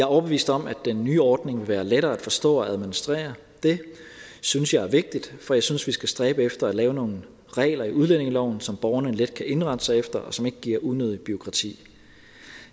overbevist om at den nye ordning vil være lettere at forstå og administrere det synes jeg er vigtigt for jeg synes vi skal stræbe efter at lave nogle regler i udlændingeloven som borgerne let kan indrette sig efter og som ikke giver unødigt bureaukrati